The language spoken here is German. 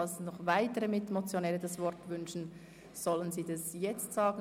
Falls noch weitere Mitmotionäre das Wort wünschen, sollen sie dies jetzt sagen.